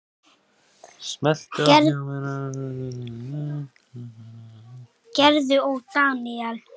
Gerður og Daníel.